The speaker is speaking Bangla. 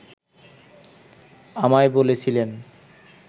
আমায় বলেছিলেন